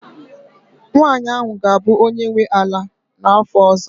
nwanyị ahụ ga-abụ onye nwe ala n'afọ ọzọ